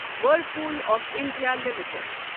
Whirlpool of India limited